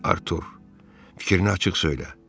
Artur, fikrini açıq söylə.